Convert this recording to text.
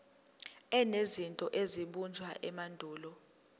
enezinto ezabunjwa emandulo